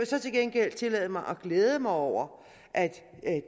så til gengæld tillade mig at glæde mig over at